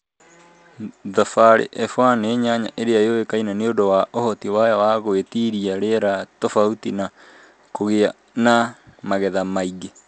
Thabari F1 nĩ nyanya ĩrĩa yũĩkaine nĩ ũndũ wa ũhoti wayo wa gũĩtiria rĩera tobauti na kũgĩa na magetha maingĩ.